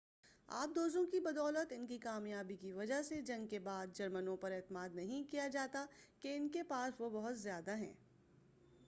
آبدوزوں کی بدولت ان کی کامیابی کی وجہ سے جنگ کے بعد جرمنوں پر اعتماد نہیں کیا جاتا کہ انکے پاس وہ بہت زیادہ ہیں